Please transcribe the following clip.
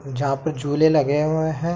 जहाँ पर झूले लगे हुए है।